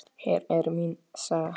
Hér er mín saga.